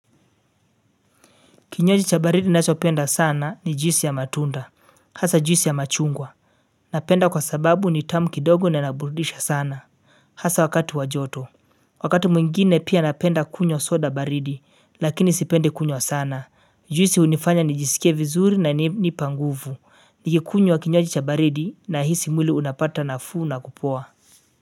Kinywaji cha baridi nashopenda sana ni juisi ya matunda, hasa juisi ya machungwa. Napenda kwa sababu ni tamu kidogo na inaburudisha sana. Hasa wakati wajoto. Wakati mwingine pia napenda kunywa soda baridi, lakini sipendi kunywa sana. Juisi hunifanya ni jisike vizuri na nipanguvu. Nikikunywa kinywaji cha baridi na hisi mwili unapata nafuu na kupoa.